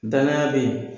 Danaya be yen